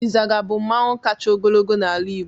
Izaga bu mmanwụ kacha ogologo n'ala igbo.